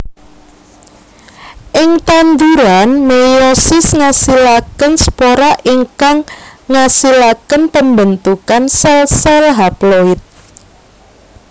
Ing tanduran meiosis ngasilaken spora ingkang ngasilaken pembentukan sel sel haploid